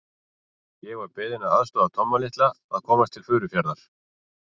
Ég var beðinn að aðstoða Tomma litla að komast til Furufjarðar.